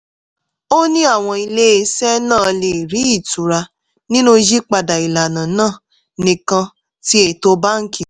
ó ní àwọn iléeṣẹ́ náà lè rí ìtura nínú yípadà ìlànà náà nìkan tí ètò báńkì